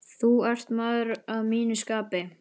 Þú ert maður að mínu skapi.